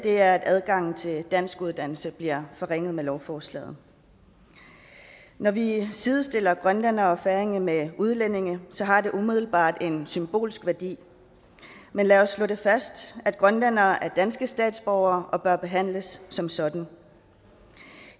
er at adgangen til danskuddannelse bliver forringet med lovforslaget når vi sidestiller grønlændere og færinger med udlændinge har det umiddelbart en symbolsk værdi men lad os slå fast at grønlændere er danske statsborgere og bør behandles som sådan